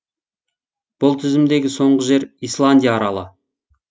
бұл тізімдегі соңғы жер исландия аралы